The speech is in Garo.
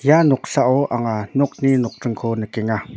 ia noksao anga nokni nokdringko nikenga.